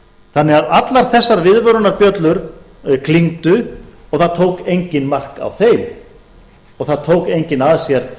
þannig að allar þessar viðvörunarbjöllur klingdu og það tók enginn mark á þeim og það tók enginn að sér